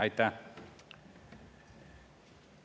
Aitäh!